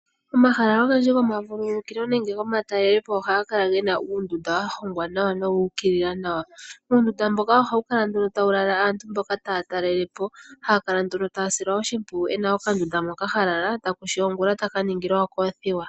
Omahala ogendji goma vululukilo nenge goma talelepo ohaga kala gena uundunda wa hongwa nawa nowu ukilila nawa. Uundunda mboka ohawu kala nduno tawu lala aantu mboka taya talalepo haya kala nduno taya silwa oshipwiyu ena oka ndunda moka ha lala takushi ongula taka ningilwa okothiwa.